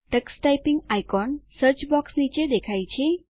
Tux typing icon search box નીચે દેખાય છે